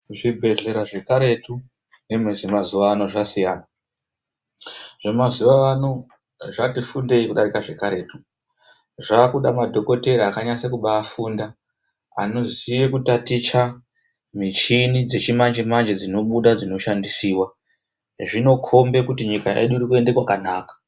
Zvibhlera zvekaretu nezvemazuwano zvasiyana. Zvemazuwano zvati fundei kudarika zvekaretu. Zvakuda madhokotera akanyase kubafunda anoziye kutaticha michini dzechimanje manje dzinobuda dzichishandisiwa. Zvinokhomba kuti nyika irikwende kwakanaka.